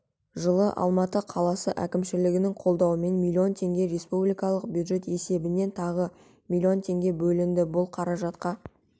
жылы алматы қаласы әкімшілігінің қолдауымен миллион теңге республикалық бюджет есебінен тағы млн теңге бөлінді бұл қаражатқа